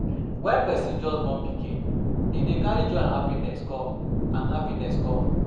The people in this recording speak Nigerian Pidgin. When person just born pikin, e dey carry joy and happiness come and happiness come